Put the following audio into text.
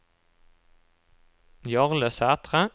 Jarle Sætre